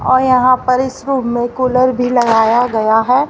और यहां पर इस रूम में कूलर भी लगाया गया।